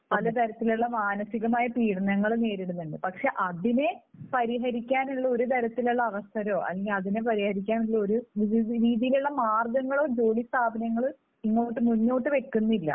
പലതരത്തിലുള്ള മാനസികമായ പീഡനങ്ങൾ നേരിടുന്നുണ്ട്. പക്ഷേ അതിനെ പരിഹരിക്കാനുള്ള ഒരു തരത്തിലുള്ള അവസരമോ അല്ലെങ്കിൽ അതിനെ പരിഹരിക്കാനുള്ള ഒരു രീതിയിലുള്ള മാർഗങ്ങളോ ജോലി സ്ഥാപനങ്ങൾ ഇങ്ങോട്ട് മുന്നോട്ടു വയ്ക്കുന്നില്ല.